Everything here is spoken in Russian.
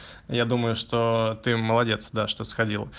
я думаю что ты молодец да что сходил